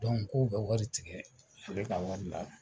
k'u ka wari tigɛ ale ka wari la.